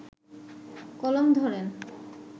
কলম ধরেন